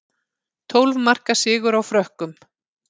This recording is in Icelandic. Tólf marka sigur á Frökkum